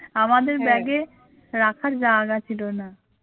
আমাদের bag এ রাখার জায়গা ছিল না